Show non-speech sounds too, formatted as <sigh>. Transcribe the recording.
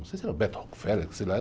Não sei se era, <unintelligible> sei lá.